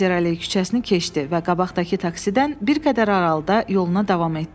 Kayzer Alley küçəsini keçdi və qabaqdakı taksidən bir qədər aralıda yoluna davam etdi.